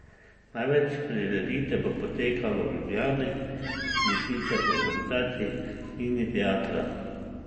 Največ prireditev bo potekalo v Ljubljani, in sicer v organizaciji Mini teatra.